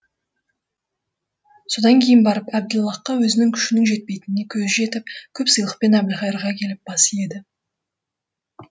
содан кейін барып әбділлахқа өзінің күшінің жетпейтініне көзі жетіп көп сыйлықпен әбілқайырға келіп бас иеді